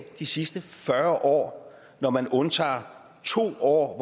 de sidste fyrre år når man undtager to år